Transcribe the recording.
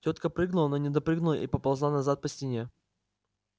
тётка прыгнула но не допрыгнула и поползла назад по стене